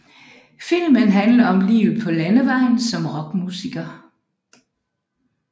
Filmen handler om livet på landevejen som rockmusiker